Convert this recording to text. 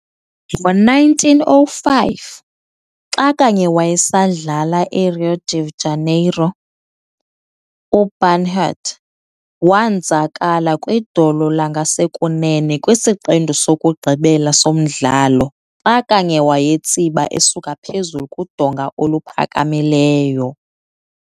Ngo1905, xa kanye wayesadlala eRio de Janeiro, uBernhardt wonzakala kwidolo langasekunene kwisiqendu sokugqibela somdlalo xa kanye wayetsiba eskuka phezulu kudonga oluphakamileyo.